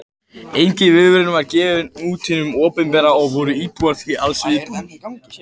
Engin viðvörun var gefin út af hinu opinbera og voru íbúar því alls óviðbúnir.